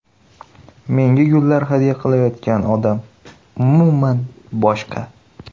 Menga gullar hadya qilayotgan odam umuman boshqa.